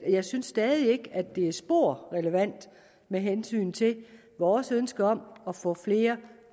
jeg synes stadig ikke det er spor relevant med hensyn til vores ønske om at få flere